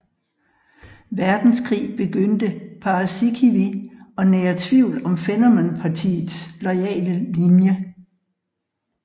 Verdenskrig begyndte Paasikivi at nære tvivl om Fennoman Partiets loyale linje